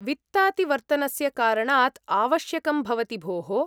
वित्तातिवर्तनस्य कारणात् आवश्यकं भवति भोः।